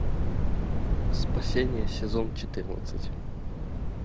спасение сезон четырнадцать